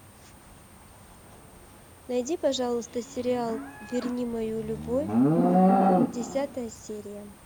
найди пожалуйста сериал верни мою любовь десятая серия